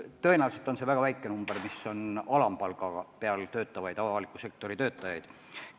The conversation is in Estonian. Tõenäoliselt on neid inimesi väga vähe, kes alampalga eest avalikus sektoris töötavad.